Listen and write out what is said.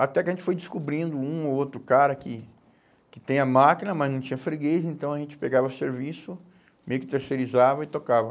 Até que a gente foi descobrindo um ou outro cara que que tem a máquina, mas não tinha freguês, então a gente pegava serviço, meio que terceirizava e tocava.